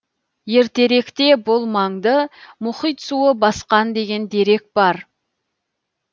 ертеректе бұл маңды мұхит суы басқан деген дерек бар